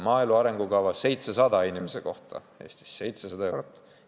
Maaelu arengukava: 700 eurot inimese kohta Eestis, 700 eurot!